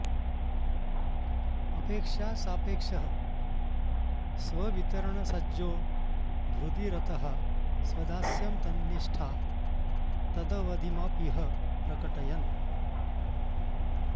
अपेक्षासापेक्षः स्ववितरणसज्जो हृदि रतः स्वदास्यं तन्निष्ठा तदवधिमपीह प्रकटयन्